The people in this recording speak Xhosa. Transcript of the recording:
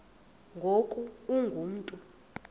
ngoku ungu mntu